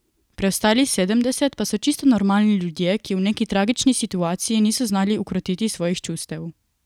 Preostalih sedemdeset pa so čisto normalni ljudje, ki v neki tragični situaciji niso znali ukrotiti svojih čustev.